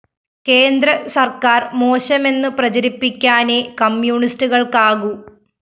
കേന്ദ്ര സര്‍ക്കാര്‍ മോശമെന്നു പ്രചരിപ്പിക്കാനേ കമ്മ്യൂണിസ്റ്റുകള്‍ക്കാകൂ